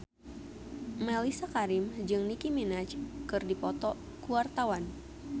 Mellisa Karim jeung Nicky Minaj keur dipoto ku wartawan